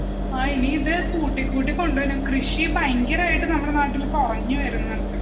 ആ ഇനിയിതുകൂട്ടി കൂട്ടികൊണ്ടുവരണം. കൃഷി ഭയങ്കരമായിട്ട് നാട്ടിൽ കുറഞ്ഞു വരുന്നുണ്ട്